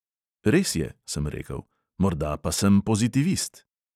"Res je," sem rekel, "morda pa sem pozitivist."